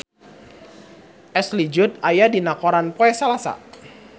Ashley Judd aya dina koran poe Salasa